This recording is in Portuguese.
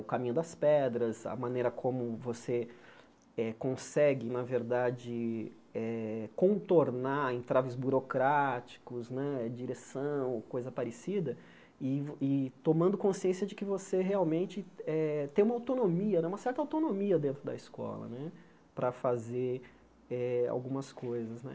o caminho das pedras, a maneira como você eh consegue, na verdade, eh contornar entraves burocráticos né, direção, coisa parecida, e tomando consciência de que você realmente eh tem uma autonomia, uma certa autonomia dentro da escola né para fazer eh algumas coisas né.